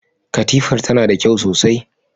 Katifar tana da kyau sosai.